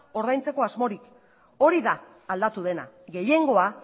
ordaintzeko asmorik hori da aldatu dena gehiengoa